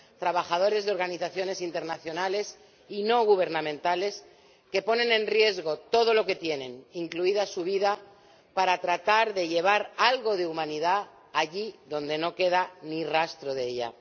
trabajadores de organizaciones internacionales y no gubernamentales que ponen en riesgo todo lo que tienen, incluida su vida, para tratar de llevar algo de humanidad allí donde no queda ni rastro de ella.